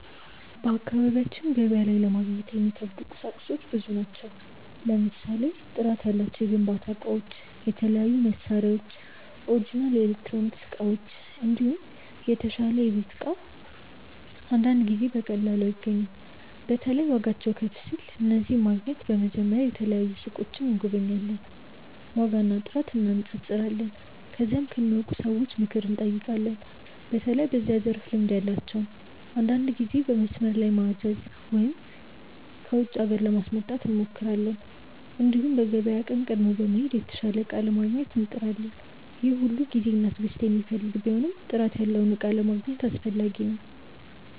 በአካባቢያችን ገበያ ላይ ለማግኘት የሚከብዱ ቁሳቁሶች ብዙ ናቸው። ለምሳሌ ጥራት ያላቸው የግንባታ እቃዎች፣ የተለያዩ መሳሪያዎች፣ ኦሪጅናል ኤሌክትሮኒክስ እቃዎች፣ እንዲሁም የተሻለ የቤት እቃ አንዳንድ ጊዜ በቀላሉ አይገኙም። በተለይ ዋጋቸው ከፍ ሲል። እነዚህን ለማግኘት በመጀመሪያ የተለያዩ ሱቆችን እንጎበኛለን፣ ዋጋና ጥራት እንነጻጸራለን። ከዚያም ከሚያውቁ ሰዎች ምክር እንጠይቃለን፣ በተለይ በዚያ ዘርፍ ልምድ ያላቸውን። አንዳንድ ጊዜ በመስመር ላይ ማዘዝ ወይም ከውጪ ሀገር ለማስመጣት እንሞክራለን። እንዲሁም በገበያ ቀን ቀድሞ በመሄድ የተሻለ እቃ ለማግኘት እንጥራለን። ይህ ሁሉ ጊዜና ትዕግስት የሚፈልግ ቢሆንም ጥራት ያለውን እቃ ለማግኘት አስፈላጊ ነው።